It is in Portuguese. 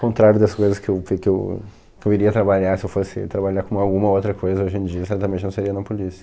Contrário das coisas que eu pre que eu, que eu iria trabalhar, se eu fosse trabalhar com alguma outra coisa hoje em dia, certamente não seria na polícia.